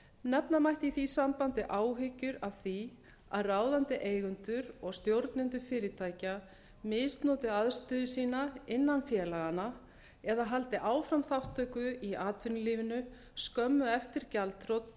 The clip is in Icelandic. nefna mætti í því sambandi áhyggjur af því að ráðandi eigendur og stjórnendur fyrirtækja misnoti aðstöðu sína innan félaganna eða haldi áfram þátttöku í atvinnulífinu skömmu eftir gjaldþrot